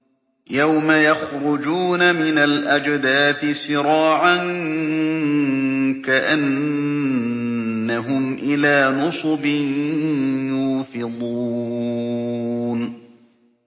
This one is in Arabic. يَوْمَ يَخْرُجُونَ مِنَ الْأَجْدَاثِ سِرَاعًا كَأَنَّهُمْ إِلَىٰ نُصُبٍ يُوفِضُونَ